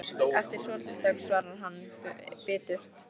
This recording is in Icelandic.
Eftir svolitla þögn svarar hann biturt